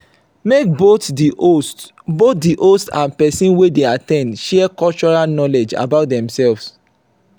make both the host both the host and persin wey de at ten d share cultural knowledge about themselves